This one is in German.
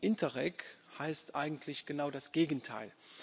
Interreg heißt eigentlich genau das Gegenteil.